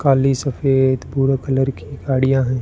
काली सफेद भूरा कलर की गाड़ियां हैं।